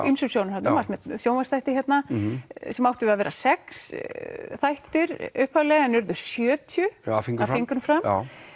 ýmsum sjónarhornum varst með sjónvarpsþætti hérna sem áttu að vera sex þættir upphaflega en urðu sjötíu af fingrum fram